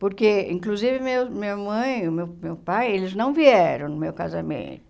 Porque, inclusive, meu minha mãe o meu meu pai, eles não vieram no meu casamento.